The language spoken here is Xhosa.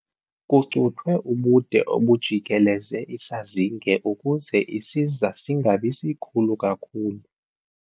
Kucuthwe ubude obujikeleze isazinge ukuze isiza singabi sikhulu kakhulu.